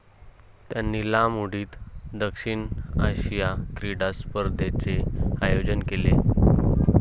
त्यांनी लांब उडीत दक्षिण आशिया क्रीडा स्पर्धेचे आयोजन केले.